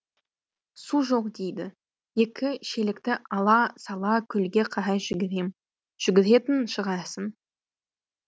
су жоқ дейді екі шелекті ала сала көлге қарай жүгірем жүгіретін шығарсың